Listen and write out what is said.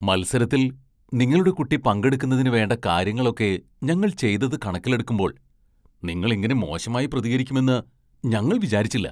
മത്സരത്തിൽ നിങ്ങളുടെ കുട്ടി പങ്കെടുക്കുന്നതിന് വേണ്ട കാര്യങ്ങളൊക്കെ ഞങ്ങൾ ചെയ്തത് കണക്കിലെടുക്കുമ്പോൾ നിങ്ങൾ ഇങ്ങനെ മോശമായി പ്രതികരിക്കുമെന്ന് ഞങ്ങൾ വിചാരിച്ചില്ല.